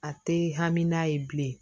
A tɛ hami n'a ye bilen